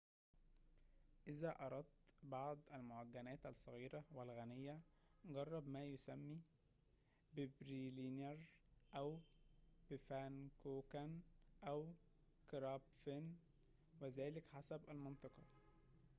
إذا أردت بعض المعجنات الصغيرة والغنية جرّب ما يُسمّى ببيرلينر أو بفانكوكن أو كرابفن وذلك حسب المنطقة